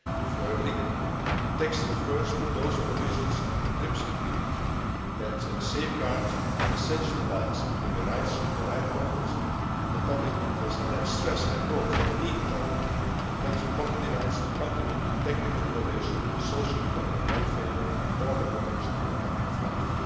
valid. Thirdly, the text refers to those provisions of the TRIPS agreement that safeguard the essential balance between the rights of the right holders and the public interest, and that stress the need for intellectual property rights to contribute to technical innovation, socio economic welfare, or the protection of health'.